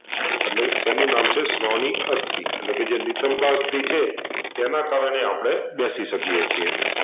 એટલે તેનું નામ છે શ્રોનિક અસ્થી એટલેકે જે નિતાંબાસ્થિ છે તેને કારણે આપણે બેશી શકીયે છીએ